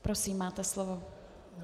Prosím, máte slovo.